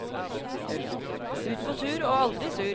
Ut på tur og aldri sur.